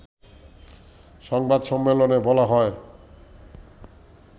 সংবাদ সম্মেলনে বলা হয়